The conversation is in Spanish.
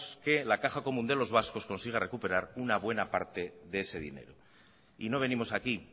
que la caja común de los vascos consiga recuperar una buena parte de ese dinero y no venimos aquí